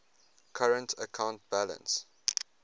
current account balance